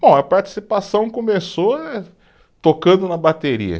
Bom, a participação começou eh, tocando na bateria.